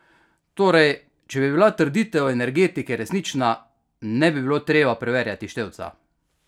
Torej, če bi bila trditev Energetike resnična, ne bi bilo treba preverjati števca!